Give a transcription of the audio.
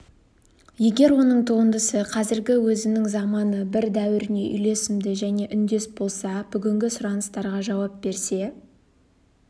егер оның туындысы қазіргі өзінің заманы бір дәуіріне үйлесімді және үндес болса бүгінгі сұраныстарға жауап берсе